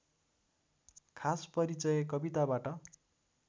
खास परिचय कविताबाट